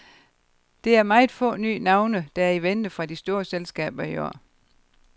Det er meget få nye navne, der er i vente fra de store selskaber i år.